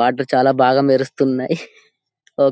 water చాలా బాగా మెరుస్తున్నాయి ఒ--